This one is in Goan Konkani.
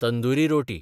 तंदुरी रोटी